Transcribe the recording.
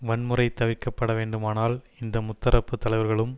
வன்முறை தவிர்க்க பட வேண்டுமானால் இந்த முத்தரப்பு தலைவர்களும்